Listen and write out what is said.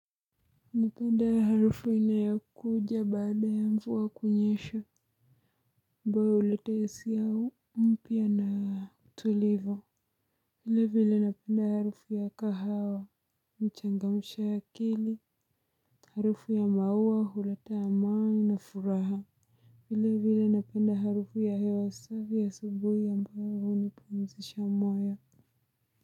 Napenda harufu inayokuja baada ya mvua kunyesha ambayo huleta hisia mpya na tulivu. Vile vile napenda harufu ya kahawa mchangamsha akili. Harufu ya maua huleta amani na furaha. Vile vile napenda harufu ya hewa safi asubuhi ambayo hunipumzisha moyo.